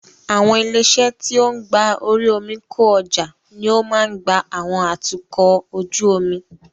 Àwọn ilé-iṣẹ́ tí ó ń gba orí omi kó ọjà ní o máa ń gba àwọn atukọ̀ ojú omi.